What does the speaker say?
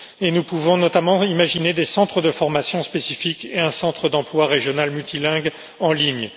Nous pouvons notamment imaginer des centres de formation spécifique et un centre d'emploi régional multilingue en ligne.